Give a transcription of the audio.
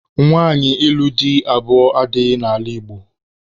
Nwaanyị ịlụ di abụọ adịghị n'ala Igbo